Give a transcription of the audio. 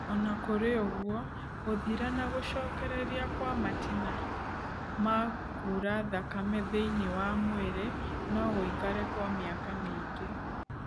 Ona kũrĩ ũguo, gũthira na gũcokereria kwa matina ma kura thakame thĩiniĩ wa mwĩrĩ no gũikare kwa mĩaka mĩingi